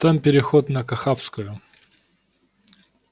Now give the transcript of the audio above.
там переход на кахавскую